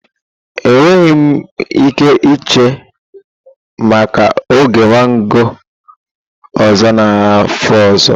Enweghị m ike iche maka oge mango ọzọ n'afọ ọzọ.